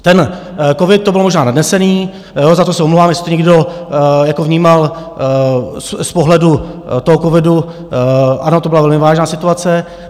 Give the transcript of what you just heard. Ten covid, to byl možná nadnesené, za to se omlouvám, jestli to někdo vnímal z pohledu toho covidu, ano, to byla velmi vážná situace.